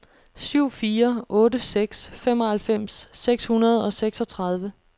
syv fire otte seks femoghalvfems seks hundrede og seksogtredive